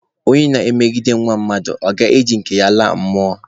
Ọnye na-emegbu nwa mmadụ, ọ ga-eji nke ya laa mmụọ?